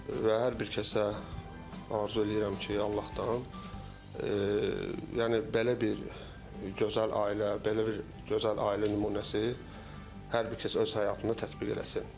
Və hər bir kəsə arzu eləyirəm ki, Allahdan, yəni belə bir gözəl ailə, belə bir gözəl ailə nümunəsi hər bir kəs öz həyatında tətbiq eləsin.